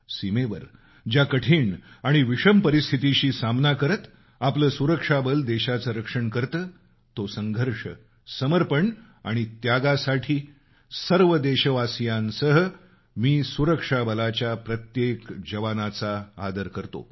सीमेवर ज्या कठीण आणि विषम परिस्थितीशी सामना करत आपलं सुरक्षा बल देशाचं रक्षण करतं तो संघर्ष समर्पण आणि त्यागासाठी सर्व देशवासियांसह मी सुरक्षा बलाच्या प्रत्येक जवानाचा आदर करतो